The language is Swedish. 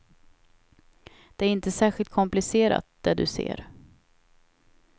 Det är inte särskilt komplicerat, det du ser.